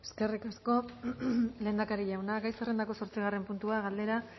eskerrik asko lehendakari jauna gai zerrendako zortzigarren puntua galdera